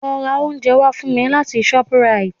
Lọ ra oúnjẹ wá fún mi láti shoprite